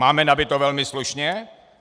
Máme nabito velmi slušně.